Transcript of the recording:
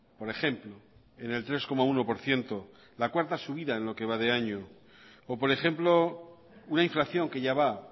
por ejemplo en el tres coma uno por ciento la cuarta subida en lo que va de año o por ejemplo una inflación que ya va